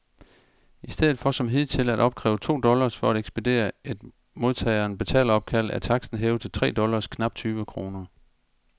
Istedet for som hidtil at opkræve to dollars for at ekspedere et modtageren betaleropkald, er taksten hævet til tre dollars, knap tyve kroner.